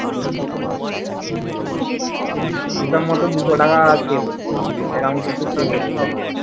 হিসেব মতো দুশো টাকা পেলো এবার আমি